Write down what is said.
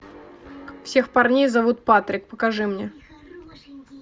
всех парней зовут патрик покажи мне